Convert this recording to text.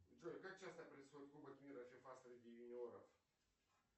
джой как часто происходит кубок мира фифа среди юниоров